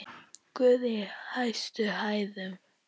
Guð í hæstum hæðum!